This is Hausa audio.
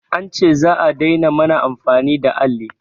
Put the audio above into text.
An ce za'a daina mana amfani da alli